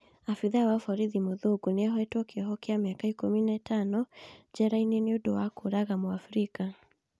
Abithaa wa borithi mũthũngũ nĩakundĩkĩtwo kĩoho kĩa mĩaka ikũmi na ĩtano njera nĩũndũ wa kũũraga muafrika